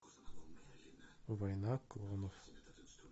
война клонов